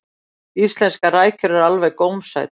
íslenskar rækjur eru alveg gómsætar